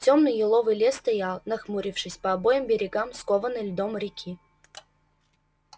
тёмный еловый лес стоял нахмурившись по обоим берегам скованной льдом реки